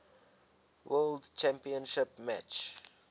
world championship match